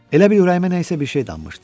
Elə bil ürəyimə nəsə bir şey dammışdı.